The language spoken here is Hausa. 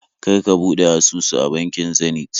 Kar ka buɗe asusu a bankin Zenith